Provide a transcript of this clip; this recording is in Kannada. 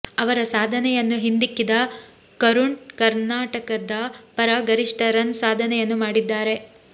ಅವರ ಸಾಧನೆಯನ್ನು ಹಿಂದಿಕ್ಕಿದ ಕರುಣ್ ಕರ್ನಾಟಕದ ಪರ ಗರಿಷ್ಠ ರನ್ ಸಾಧನೆಯನ್ನು ಮಾಡಿದ್ದಾರೆ